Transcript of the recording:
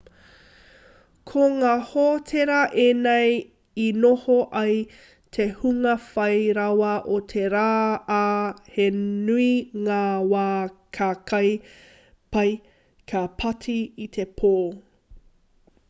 ko ngā hōtērā ēnei i noho ai te hunga whai rawa o te rā ā he nui ngā wā ka kai pai ka pāti i te pō